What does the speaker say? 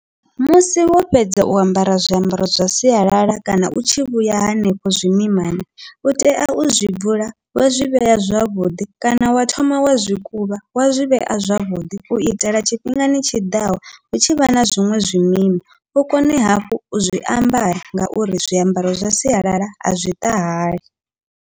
Musi wo fhedza u ambara zwiambaro zwa sialala kana u tshi vhuya hanefho zwimimani, utea u zwi bvula wa zwi vhea zwavhuḓi kana wa thoma wa zwi kuvha wa zwi vhea zwavhuḓi, uitela tshifhingani tshiḓaho hu tshivha na zwiṅwe zwimima u kone hafhu u zwiambara ngauri zwiambaro zwa sialala azwi ṱahali.